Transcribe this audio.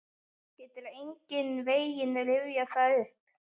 Get engan veginn rifjað það upp.